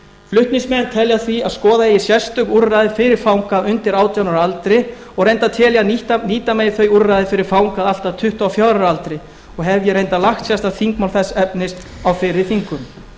flutningsmenn telja því að skoða eigi sérstök úrræði fyrir fanga undir átján ára aldri og reyndar tel ég að nýta megi þau úrræði fyrir fanga allt að tuttugu og fjögurra ára aldri og hef ég reyndar lagt fram þingmál þess efnis á fyrri þingum